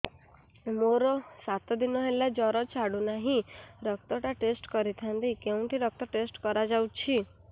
ମୋରୋ ସାତ ଦିନ ହେଲା ଜ୍ଵର ଛାଡୁନାହିଁ ରକ୍ତ ଟା ଟେଷ୍ଟ କରିଥାନ୍ତି କେଉଁଠି ରକ୍ତ ଟେଷ୍ଟ କରା ଯାଉଛି